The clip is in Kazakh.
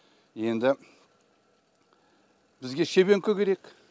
енді бізге шебенкі керек